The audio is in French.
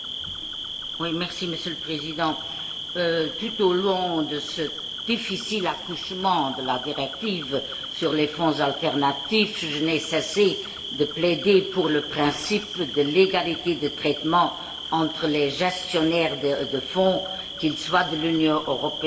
Monsieur le Président, tout au long de ce difficile accouchement de la directive sur les fonds alternatifs, je n'ai cessé de plaider pour le principe de l'égalité de traitement entre les gestionnaires de fonds, qu'ils soient de l'Union européenne ou non.